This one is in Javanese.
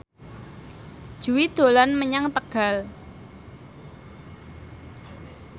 Jui dolan menyang Tegal